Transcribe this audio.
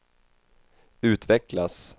utvecklas